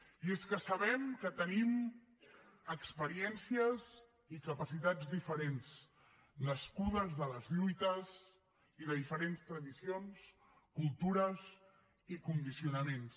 i és que sabem que tenim experiències i capacitats diferents nascudes de les lluites i de diferents tradicions cultures i condicionaments